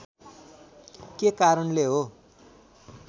के कारणले हो